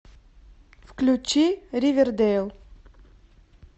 включи ривердейл